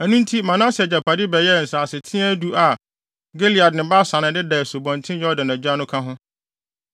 Ɛno nti Manase agyapade bɛyɛɛ nsaseteaa du a Gilead ne Basan a ɛdeda Asubɔnten Yordan agya no ka ho,